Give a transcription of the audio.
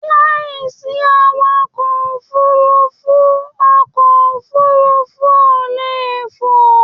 Láìsí awakọ̀ òfurùnfu, ọkọ òfurùnfu o lè fò